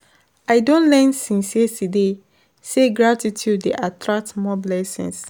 I don learn since yesterday sey gratitude dey attract more blessings.